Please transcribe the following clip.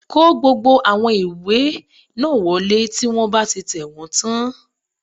Kó gbogbo àwọn ìwé náà wọlé tí wọ́n bá ti tẹ̀wọ́n tán